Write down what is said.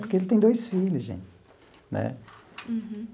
Porque ele tem dois filhos, gente né.